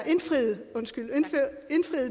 indfriet